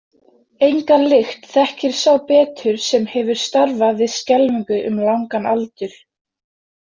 Enga lykt þekkir sá betur sem hefur starfað við skelfingu um langan aldur.